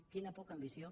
quina poca ambició